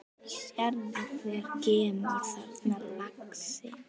Sérðu hver kemur þarna, lagsi?